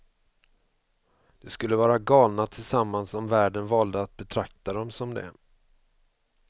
De skulle vara galna tillsammans om världen valde att betrakta dem som det.